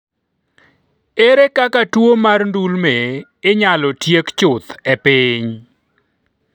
ere kaka tuo mar ndulme inyalo tiek chuth e piny?